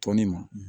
Tɔni ma